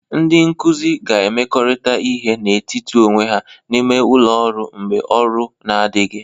Ndị nkuzi ga-emekọrịta ihe n'etiti onwe ha n'ime ụlọ ọrụ mgbe ọrụ na-adịghị